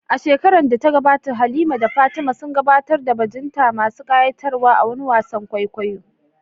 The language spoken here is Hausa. A shekarar da ta gabata, Halima da Fatima sun gabatar da bajinta masu ƙayatarwa a wani wasan kwaikwayo.